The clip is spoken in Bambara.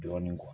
Dɔɔnin